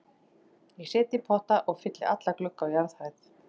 Ég set í potta og fylli alla glugga á jarðhæð.